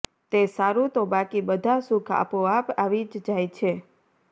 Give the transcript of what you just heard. તે સારું તો બાકી બધા સુખ આપો આપ આવી જ જાય છે